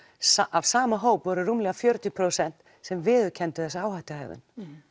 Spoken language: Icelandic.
af sama hópi voru rúmlega fjörutíu prósent sem viðurkenndu þessa áhættuhegðun